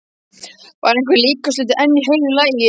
Var einhver líkamshluti enn í heilu lagi?